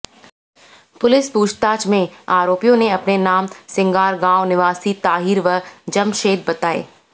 police पूछताछ में आरोपियों ने अपने नाम सिंगार गांव निवासी ताहिर व जमशेद बताए